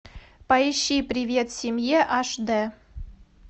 поищи привет семье аш д